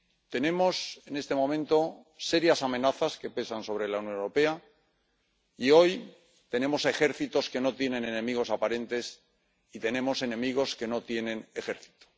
Tenemos en este momento serias amenazas que pesan sobre la Unión Europea y, hoy, tenemos ejércitos que no tienen enemigos aparentes y tenemos enemigos que no tienen ejército.